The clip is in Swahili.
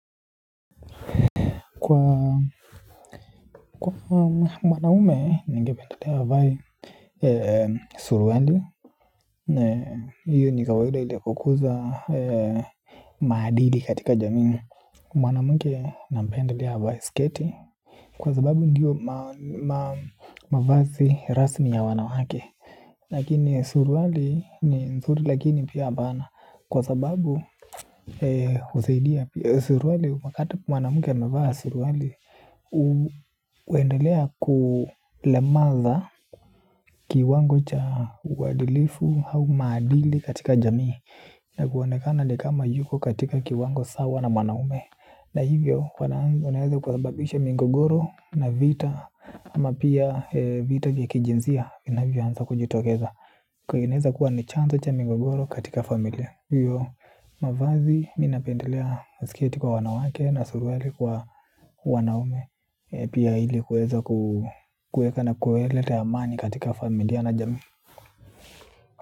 Kwa mwanaume, ningependelea avae suruali. Hiyo ni kawaida ili kukuza maadili katika jamii. Mwanamke nampendelea avae sketi. Kwa sababu ndiyo mavazi rasmi ya wanawake. Lakini suruali ni nzuri lakini pia hapana. Kwa sababu, suruali wakati mwanamke anavaa suruali huendelea kulemaza kiwango cha uadilifu au maadili katika jamii. Na kuonekana ni kama yuko katika kiwango sawa na mwanaume. Na hivyo wanaweza kusababisha migogoro na vita. Ama pia vita kijinsia inavyoanza kujitokeza inaweza kuwa ni chanzo cha migogoro katika familia. Hiyo mavazi mimi napendelea siketi kwa wanawake na suruali kwa wanaume. Pia ili kuweza kuweka na kuleta amani katika familia na jamii.